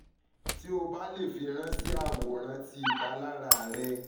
ti o ba le firanṣẹ aworan ti ipalara rẹ